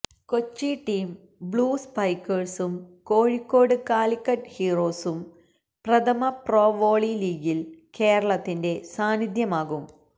Kochi team blue സ്പൈക്കേഴ്സും കോഴിക്കോട് കാലിക്കറ്റ് ഹീറോസും പ്രഥമ പ്രോ വോളി ലീഗില് കേരളത്തിന്റെ സാന്നിധ്യമാകും